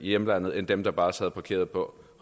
hjemlandet end af dem der bare sad parkeret på